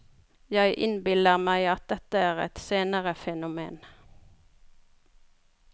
Jeg innbiller meg at dette er et senere fenomen.